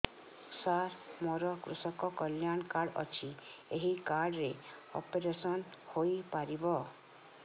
ସାର ମୋର କୃଷକ କଲ୍ୟାଣ କାର୍ଡ ଅଛି ଏହି କାର୍ଡ ରେ ଅପେରସନ ହେଇପାରିବ